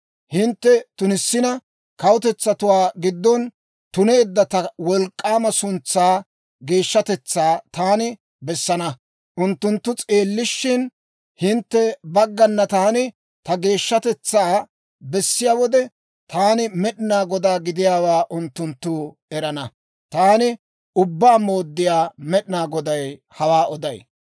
Hintte tunissina, kawutetsatuwaa giddon tuneedda ta wolk'k'aama suntsaa geeshshatetsaa taani bessana. Unttunttu s'eellishshin, hintte baggana taani ta geeshshatetsaa bessiyaa wode, taani Med'inaa Godaa gidiyaawaa unttunttu erana. Taani Ubbaa Mooddiyaa Med'inaa Goday hawaa oday.